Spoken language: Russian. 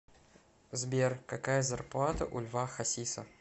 сбер какая зарплата у льва хасиса